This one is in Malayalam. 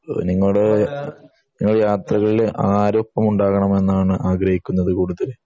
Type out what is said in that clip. നിങ്ങൾ യാത്രകളിൽ ആരൊപ്പം ഉണ്ടാവണം എന്നാണ് ആഗ്രഹിക്കുന്നത് കൂട്ടത്തിൽ